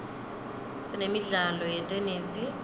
sinemidlalo yetenesi